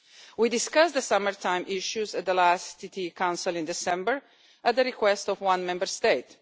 We discussed the summer time issues at the last Council sitting in December at the request of one Member State.